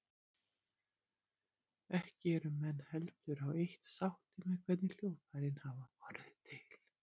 Ekki eru menn heldur á eitt sáttir með hvernig hljóðfærin hafi orðið til.